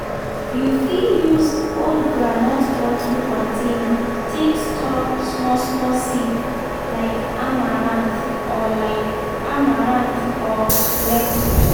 you fit use old groundnut butter container take store small-small seed like amaranth or like amaranth or lettuce.